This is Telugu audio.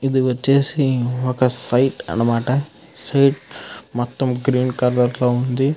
ఇది వచేసి ఒక సైట్ అనమాట. ఆ సైట్ గ్రీన్ కలర్ లో వుంది.